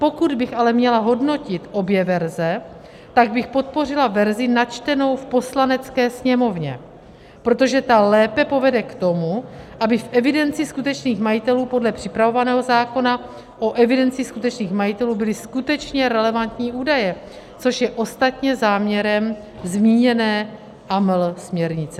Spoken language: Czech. Pokud bych ale měla hodnotit obě verze, pak bych podpořila verzi načtenou v Poslanecké sněmovně, protože ta lépe povede k tomu, aby v evidenci skutečných majitelů podle připravovaného zákona o evidenci skutečných majitelů byly skutečně relevantní údaje, což je ostatně záměrem zmíněné AML směrnice.